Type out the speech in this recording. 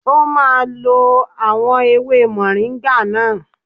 O máa lo àwọn ewé mọ̀ríńgà náà.